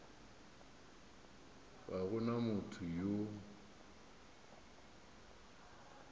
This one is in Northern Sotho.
ga go na motho yo